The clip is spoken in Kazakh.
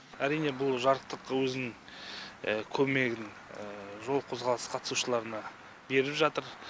әрине бұл жарықтық өзінің көмегін жол қозғалысы қатысушыларына беріп жатыр